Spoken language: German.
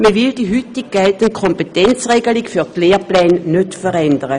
Man will die heute geltende Kompetenzregelung für die Lehrpläne nicht verändern.